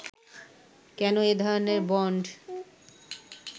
কেন এ ধরনের বন্ড